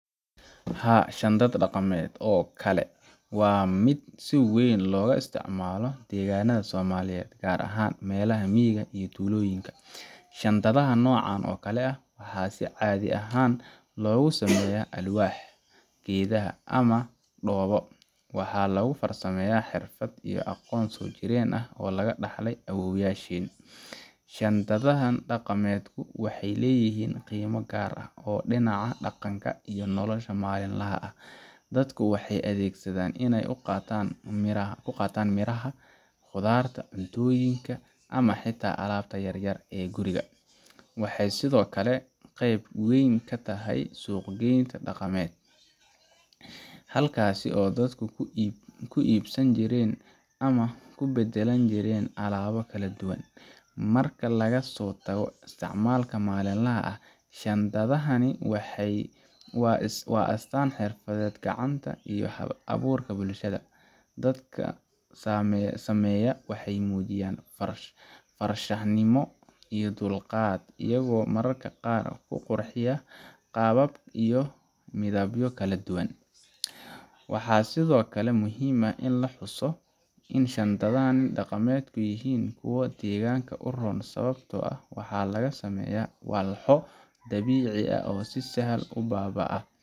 Haa, shandad dhaqameedkan oo kale waa mid si weyn looga isticmaalo deegaanada Soomaaliyeed, gaar ahaan meelaha miyiga iyo tuulooyinka. Shandadaha noocan oo kale ah waxaa si caadi ah loogu sameeyaa alwaax, geedaha, ama dhoobo, waxaana lagu farsameeyaa xirfad iyo aqoon soo jireen ah oo laga dhaxlay awoowayaasheen. Shandadaha dhaqameedku waxay leeyihiin qiimo gaar ah oo dhinaca dhaqanka iyo nolosha maalinlaha ah. Dadku waxay u adeegsadaan inay ku qaataan miraha, khudaarta, cuntooyinka ama xitaa alaabta yar-yar ee guriga. Waxay sidoo kale qayb ka yihiin suuqyada dhaqameed, halkaas oo dadku ku iibsan jireen ama ku beddelan jireen alaabo kala duwan. Marka laga soo tago isticmaalka maalinlaha ah, shandadani waa astaanta xirfadda gacanta iyo hal-abuurka bulshada. Dadka sameeya waxay muujiyaan farshaxanimo iyo dulqaad, iyagoo mararka qaar ku qurxiya qaabab iyo midabbo kala duwan. Waxaa sidoo kale muhiim ah in la xuso in shandadaha dhaqameedku yihiin kuwo deegaanka u roon sababtoo ah waxa laga sameeyaa walxo dabiici ah oo si sahlan u baaba’a